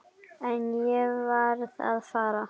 En ég varð að fara.